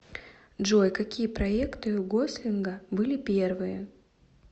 джой какие проекты у гослинга были первые